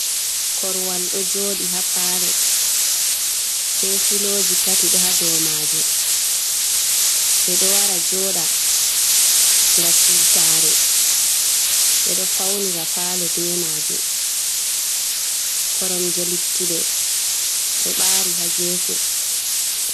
Koruwal ɗo joɗi ha palo, be filoji tati ɗo ha do majum, ɓe ɗo wara joɗa ga siwtare, ɓe ɗo faunira palo be majum, koromje luttuɗe ɗo bari hagefe.